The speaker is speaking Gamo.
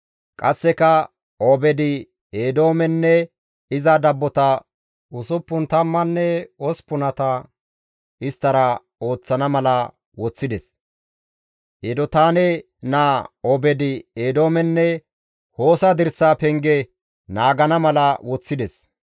Qasseka Obeed-Eedoomenne iza dabbota usuppun tammanne osppunata isttara ooththana mala woththides; Edotaane naa Obeed-Eedoomenne Hoosa dirsaa penge naagana mala woththides.